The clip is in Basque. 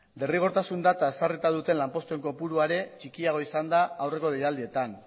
derrigortasun data ezarrita duten lanpostuen kopurua ere txikiago izan da aurreko deialdietan